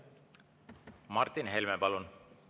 Martin Helme, palun!